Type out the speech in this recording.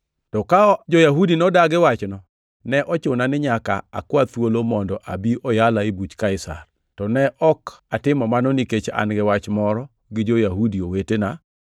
To ka jo-Yahudi nodagi wachno, ne ochuna ni nyaka akwa thuolo mondo abi oyala e buch Kaisar, to ne ok atimo mano nikech an gi wach moro gi jo-Yahudi wetena.